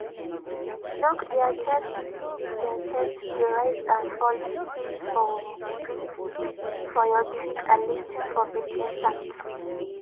look dia chest to see if dia chest dey rise and fall feel for breath for your cheek and lis ten for breathing sounds.